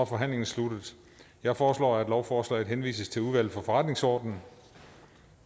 forhandlingen sluttet jeg foreslår at lovforslaget henvises til udvalget for forretningsorden